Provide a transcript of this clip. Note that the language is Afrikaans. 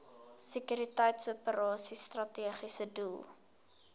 sekuriteitsoperasies strategiese doel